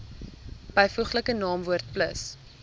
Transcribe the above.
byvoeglike naamwoord plus